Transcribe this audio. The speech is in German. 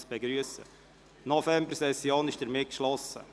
Somit ist die Novembersession geschlossen.